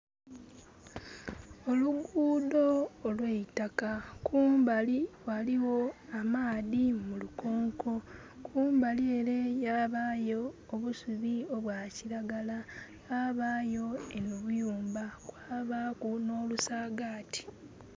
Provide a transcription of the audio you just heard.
Oluguudo olweitaka, kumbali waliwo amaadhi mu lukonko, kumbali ere yabayo obusubi obwa kiragala, wabayo obuyumba, kwabaaku no lusagati